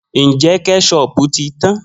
Njẹ kẹṣopu ti tan?